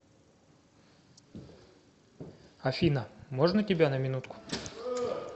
афина можно тебя на минутку